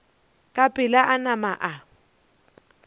ka pela a nama a